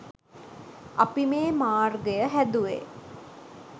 අපි මේ මාර්ගය හැදුවේ